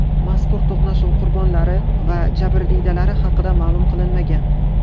Mazkur to‘qnashuv qurbonlari va jabrdiydalari haqida ma’lum qilinmagan.